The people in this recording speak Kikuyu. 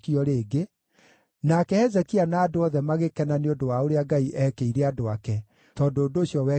Nake Hezekia na andũ othe magĩkena nĩ ũndũ wa ũrĩa Ngai eekĩire andũ ake, tondũ ũndũ ũcio wekirwo narua mũno.